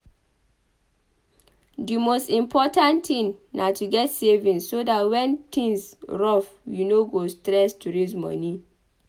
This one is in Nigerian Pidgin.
Di most important thing na to get savings so dat when things rough you no go stress to raise moni